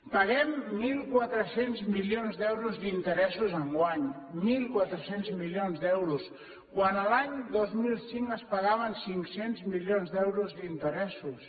paguem mil quatre cents milions d’euros d’interessos enguany mil quatre cents milions d’euros quan l’any dos mil cinc es pagaven cinc cents milions d’euros d’interessos